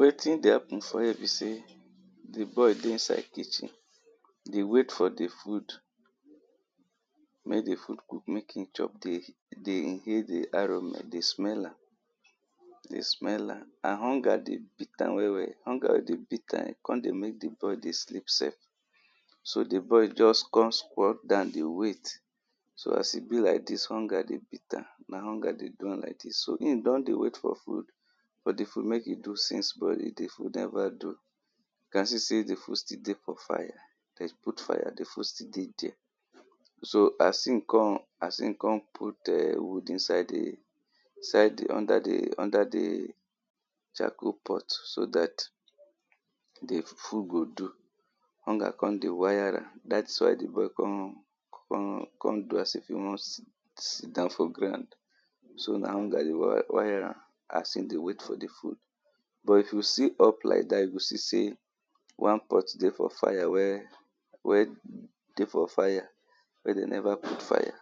Wetin dey happen for here be sey di boy dey inside kitchen dey wait for the food mek di food cook mek e chop, dey inhale di aroma, dey smell am dey smell am, and hunger dey beat am well well, hunger dey beat am, e con dey mek di boy dey sleep sef so di boy just con squat down dey wait so as e be like dis hunger dey beat am, na hunger dey do am like dis so hin don dey wait for food, for di food mek e do since but di food never do you can see sey di food still dey for fire dem put fire, di food still dey dier So as e con as e con put eh wood inside di inside di under di under di charcoal pot so dat di food go do hunger come dey wire am dat's why di boy con con con do as if e wan sit down for ground so na hunger dey wire am as e dey wait for di food But if you see up like dat, you go see sey one pot dey for fire wey dey for fire wey dem never put fire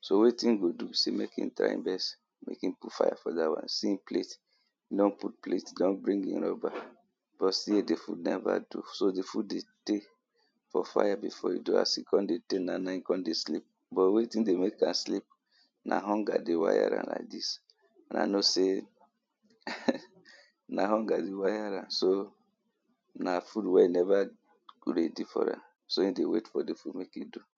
so wetin e go do be sey mek e try first, mek e put fire for dat one, see e plate e don put plate, e don bring e rubber but still di food never do So di food dey tey for fire before e do, as e con dey do now naim e come dey sleep but wetin dey mek am sleep na hunger dey wire am like dis, una know sey na hunger dey wire am na food wey never ready for am, so e dey wait for di food make e do